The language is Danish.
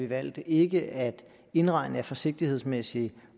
valgt ikke at indregne det af forsigtighedsmæssige